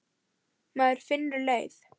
Maður finnur leið.